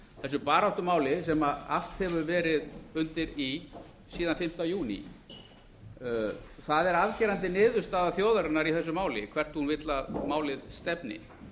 þessu baráttumáli sem allt hefur verið undir í síðan fimmta júní það er afgerandi niðurstaða þjóðarinnar í þessu máli hvert hún vill að máli stefni